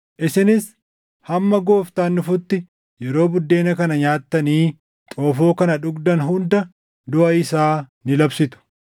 Isinis hamma Gooftaan dhufutti yeroo buddeena kana nyaattanii xoofoo kana dhugdan hunda duʼa isaa ni labsitu.